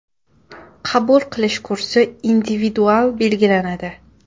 Qabul qilish kursi individual belgilanadi.